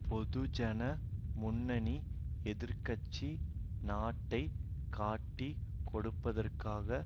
பொதுஜன முன்னணி எதிர் கட்சி நாட்டை காட்டிக் கொடுப்பதற்காக